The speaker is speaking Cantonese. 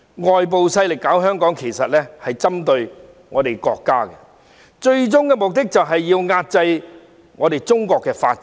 外部勢力搞香港，其實便是針對我們國家，最終目的就是要遏制中國的發展。